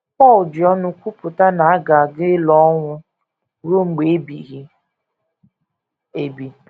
Pọl ji ọṅụ kwupụta na a ga a ga - elo ọnwụ ruo mgbe ebighị ebi.